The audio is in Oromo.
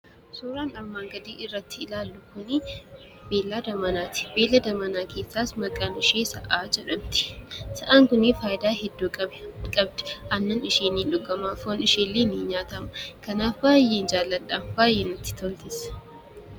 Suuraan armaan gadii irratti ilaallu kuni beeylada manaati. Beeylada manaa keessaas maqaan ishee sa'aa jedhamti. Sa'aan kuni faayidaa hedduu qabdi: aannan ishii ni dhuguma; foon ishii illee ni nyaatama. Kanaaf baay'een jaalladha. Baay'ee natti toltis.